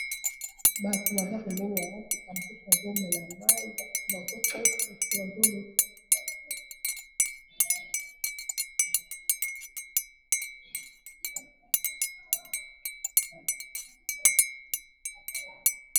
Bato baza pembeni ya motuka, mosusu azo mela mayi ba mususu bazo teka ba mususu bazo leka.